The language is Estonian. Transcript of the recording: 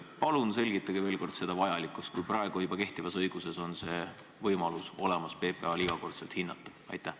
Palun selgitage veel kord selle vajalikkust, kui praegu kehtivas õiguses on PPA-l võimalus igakordselt hinnata juba olemas.